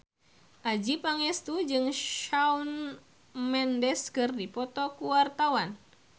Adjie Pangestu jeung Shawn Mendes keur dipoto ku wartawan